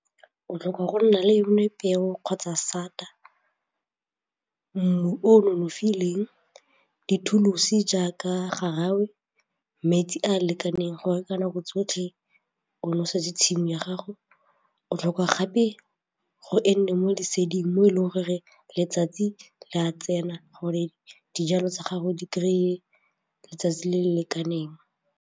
O tlhoka go nna le yone peo kgotsa sata, mmu o nonofileng, dithuo jaaka gangwe metsi a a lekaneng gore ka nako tsotlhe o nosetse tshimo ya gago, o tlhoka gape gore e nne mo leseding mo e leng goreng letsatsi le a tsena gore dijalo tsa gago di kry-e letsatsi le le lekaneng.